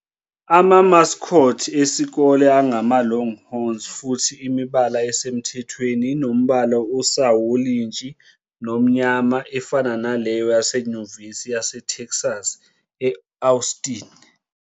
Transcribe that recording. Ama-mascots esikole angama-Longhorns futhi imibala esemthethweni inombala osawolintshi nomnyama, efana naleyo yaseNyuvesi yaseTexas e-Austin.